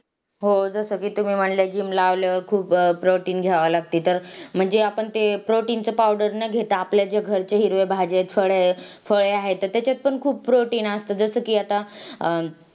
खूप मोठे आजूबाजूला लोकसंख्या वस्त्या आहेत आदिवासी लोक राहतात . आपल्या बाजूलाच कोळी लोकं सुद्धा राहतात माहिती आहे का तुला